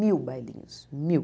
Mil bailinhos, mil.